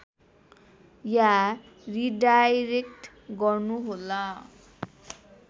या redirect गर्नुहोला